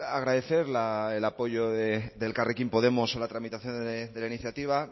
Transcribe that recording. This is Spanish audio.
agradecer el apoyo de elkarrekin podemos a la tramitación de la iniciativa